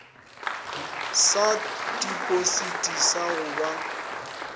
sa tipositi sa go ba